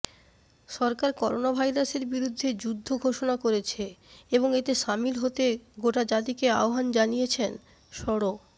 সরকার করোনাভাইরাসের বিরুদ্ধে যুদ্ধ ঘোষণা করেছে এবং এতে সামিল হতে গোটাজাতিকে আহ্বান জানিয়েছেন সড়